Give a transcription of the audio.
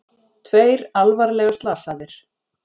Tveir alvarlega slasaðir